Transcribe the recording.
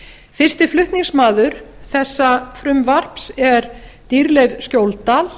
fyrsti flutningsmaður þessa frumvarps er dýrleif skjóldal